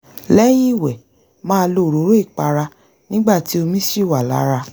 lẹ́yìn ìwẹ̀ màá lo òróró ìpara nígbà tí omi ṣì wà lára